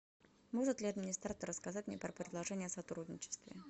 может ли администратор рассказать мне про предложения о сотрудничестве